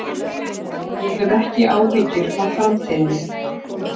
Ég hef ekki áhyggjur af framtíðinni.